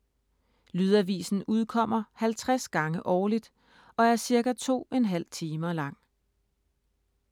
Lydavisen udkommer 50 gange årligt, og er ca. 2,5 timer lang.